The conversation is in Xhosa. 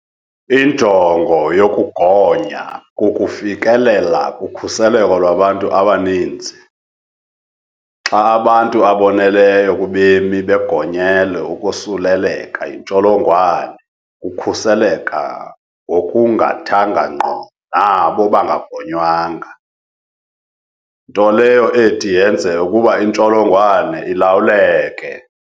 Injongo yokugonya kukufikelela kukhuseleko lwabantu abaninzi - xa abantu aboneleyo kubemi begonyele ukosuleleka yi ntsholongwane kukhuseleka ngokungathanga ngqo nabo bangagonywanga, nto leyo ethi yenze ukuba intsholo ngwane ilawuleke.